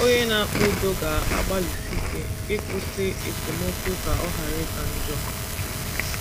Onye na - akpa udo ga - agbalịsi ike ịkwụsị esemokwu ka ọ ghara ịka njọ.